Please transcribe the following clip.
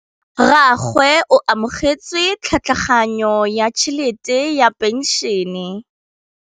Rragwe o amogetse tlhatlhaganyô ya tšhelête ya phenšene.